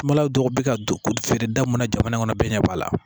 Kumala dɔ bɛ ka don ko feere da mun na jamana in kɔnɔ bɛɛ ɲɛ b'a la